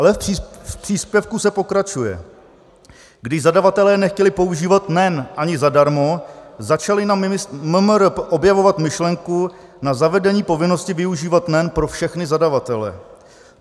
Ale v příspěvku se pokračuje: "Když zadavatelé nechtěli používat NEN ani zadarmo, začali na MMR objevovat myšlenku na zavedení povinnosti využívat NEN pro všechny zadavatele.